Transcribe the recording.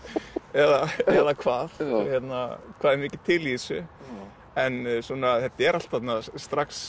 eða hvað hvað er mikið til í þessu en þetta er allt þarna strax